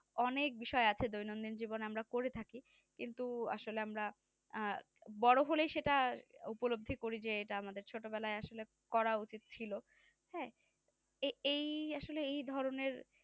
অনেক বিষয় আছে দৈনন্দিন জীবনে আমরা করে থাকি কিন্তু আসলে আমরা আহ বড় হলে যেটা উপলব্ধ করি যে এটা আমাদের ছোটবেলায় আসলে করা উচিত ছিল হ্যাঁ এ এই ধরনের